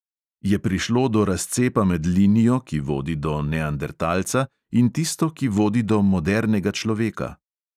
Je prišlo do razcepa med linijo, ki vodi do neandertalca, in tisto, ki vodi do modernega človeka?